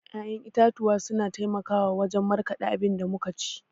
ya'yan itatuwa suna taimakawa wajan markada abinda muka ci